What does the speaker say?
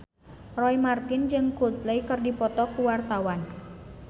Roy Marten jeung Coldplay keur dipoto ku wartawan